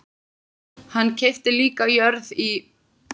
Hann keypti líka jörð í